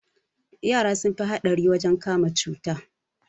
Yara sun fi haɗari wajen kama cuta